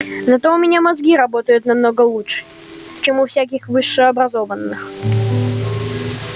зато у меня мозги работают намного лучше чем у всяких высшеобразованных